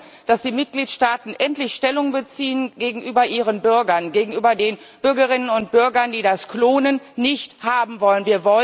Wir wollen, dass die Mitgliedstaaten endlich Stellung beziehen gegenüber ihren Bürgern, gegenüber den Bürgerinnen und Bürgern, die das Klonen nicht haben wollen.